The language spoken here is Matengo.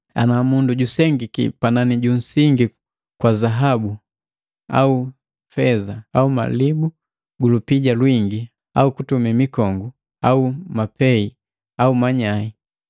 Ana mundu najusengiki panani punsingi kwa zahabu au feza au malibu ga lupija lwingi au kutumi mikongu au mapei au manyai.